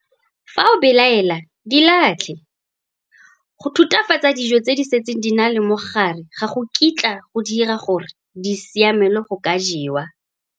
Fa o belaela, di latlhe. Go thuthafatsa dijo tse di setseng di na le mogare ga go kitla go di dira gore di siamelwe go ka jewa!